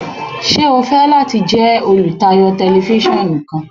Ṣe o fẹ lati jẹ olutayo Tẹlifisiọnu kan?